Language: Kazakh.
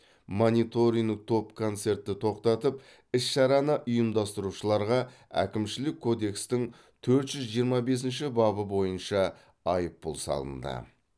мониторинг топ концертті тоқтатып іс шараны ұйымдастырушыларға әкімшілік кодекстің төрт жүз жиырма бесінші бабы бойынша айыппұл салынды